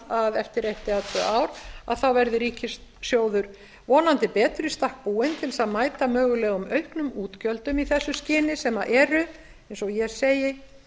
að eftir eitt eða tvö ár verði ríkissjóður vonandi betur í stakk búinn til þess að mæta mögulegum auknum útgjöldum í þessu skyni sem eru eins og ég segi